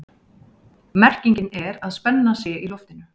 Merkingin er að spenna sé í loftinu.